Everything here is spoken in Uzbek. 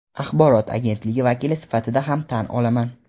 axborot agentligi vakili sifatida ham tan olaman.